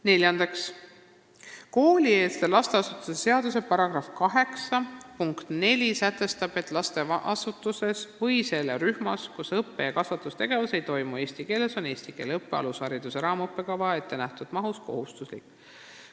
Neljandaks: "Koolieelse lasteasutuse seaduse § 8 punkt 4 sätestab, et lasteasutuses või selle rühmas, kus õppe- ja kasvatustegevus ei toimu eesti keeles, on eesti keele õpe alushariduse raamõppekavas ettenähtud mahus kohustuslik.